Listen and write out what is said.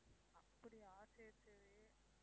அப்படியா சரி சரி